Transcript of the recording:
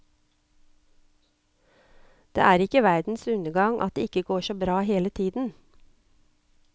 Det er ikke verdens undergang om det ikke går så bra hele tiden.